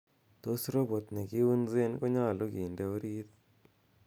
tos robot negiunzen konyolu kinde orit ii